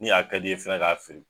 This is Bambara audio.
Ni a ka di ye fɛnɛ k'a fili